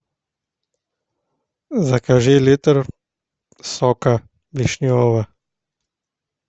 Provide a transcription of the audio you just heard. закажи литр сока вишневого